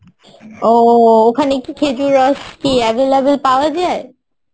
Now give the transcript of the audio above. ও ওখানে কি খেজুর রস কি available পাওয়া যায়?